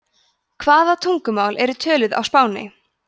hvaða tungumál eru töluð á spáni